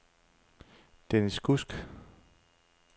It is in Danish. Denis Kudsk